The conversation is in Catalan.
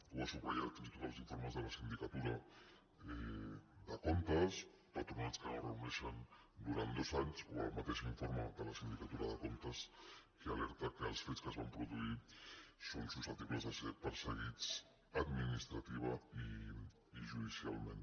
ho van subratllar fins i tot els informes de la sindicatura de comptes patronats que no es reuneixen durant dos anys o el mateix informe de la sindicatura de comptes que alerta que els fets que es van produir són susceptibles de ser perseguits administrativament i judicialment